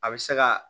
A bɛ se ka